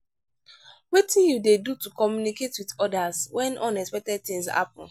wetin you dey do to communicate with odas when unexpected things happen?